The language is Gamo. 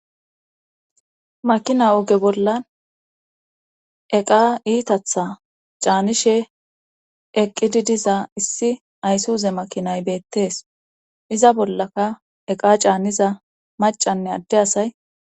makina oge bolla eqa iitatha caanishe eqqidi diza issi aysuuze makinay beettees iza bollaka eqa caaniza macanne adde asay